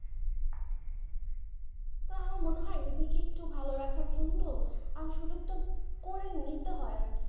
তো আমার মনে হয় নিজেকে একটু ভালো রাখার আর সুযোগটা করে নিতে হয় আর কি।